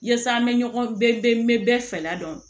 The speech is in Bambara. Yaasa an bɛ ɲɔgɔn bɛɛ n bɛ bɛɛ fɛ la dɔn